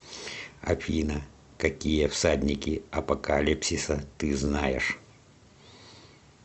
афина какие всадники апокалипсиса ты знаешь